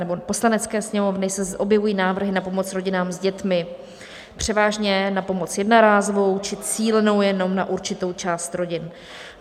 nebo Poslanecké sněmovny se objevují návrhy na pomoc rodinám s dětmi, převážně na pomoc jednorázovou či cílenou jenom na určitou část rodin.